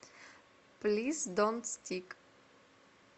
плиз донт стик